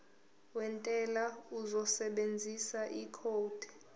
wentela uzosebenzisa ikhodi